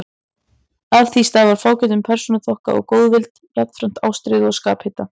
Af því stafar fágætum persónuþroska og góðvild, jafnframt ástríðu og skaphita.